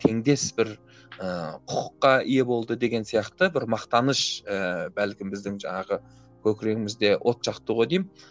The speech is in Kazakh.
теңдес бір ііі құқыққа ие болды деген сияқты бір мақтаныш ііі бәлкім біздің жаңағы көкірегімізде от жақты ғой деймін